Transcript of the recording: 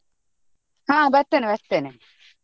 ಹಾ ಬರ್ತೇನೆ ಬರ್ತೇನೆ.